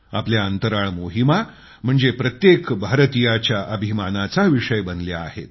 आपल्या अंतराळ मोहिमा म्हणजे प्रत्येक भारतीयाच्या अभिमानाचा गर्वाचा विषय बनल्या आहेत